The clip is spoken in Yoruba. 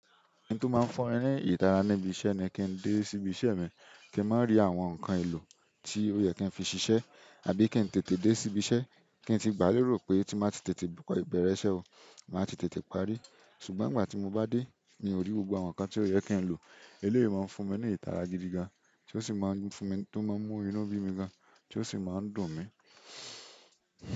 N tó máa ń fún ni ìdara níbi iṣẹ́ ni kí n dé sí ibi iṣẹ́ mi, kí n má rí àwọn nǹkan èlò tí ó yẹ kí n fi ṣiṣẹ́ àbí kí n tètè dé sí ibi iṣẹ́. Kí n tí gbà lérò pé tí màá ti tètè bẹ̀rẹ̀ iṣẹ́ o, màá ti tètè parí. Ṣùgbọ́n nìgbà tí mo bá dé, mi ò rí gbogbo àwọn nǹkan tí ó yẹ kí n lò. Èle yìí máa ń fún mi ní ìtara gidi gan, tí ó sì máa ń fún mi tí ó máa ń mú inú bí mi gan, tí ó sì máa ń dùn mi.